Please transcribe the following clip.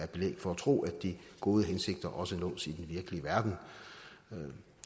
belæg for at tro at de gode hensigter også nås i den virkelige verden